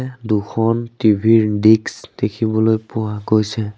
দুখন টি_ভি ৰ দিক্স দেখিবলৈ পোৱা গৈছে।